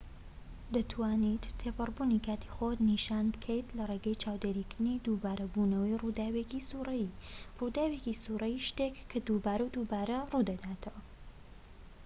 دەتوانیت تێپەڕبوونی کاتی خۆت نیشان بکەیت لە ڕێگەی چاودێریکردنی دووبارە بوونەوەی ڕووداوێکی سووڕیی ڕووداوێکی سووڕیی شتێکە کە دووبارە و دووبارە ڕوودەداتەوە